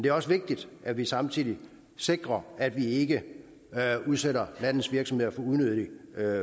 er også vigtigt at vi samtidig sikrer at vi ikke udsætter landets virksomheder for unødigt